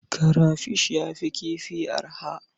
Karafish ya fi kifi arha.